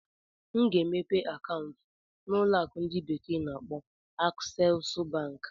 M ga-emepe akaụntụ na ụlọ akụ ndi bekee na-akpo Aksesu Bank.